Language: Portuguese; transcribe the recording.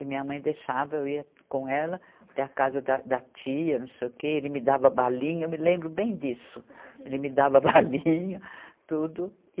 E minha mãe deixava, eu ia com ela até a casa da, da tia, não sei o quê, ele me dava balinha, eu me lembro bem disso, ele me dava balinha, tudo.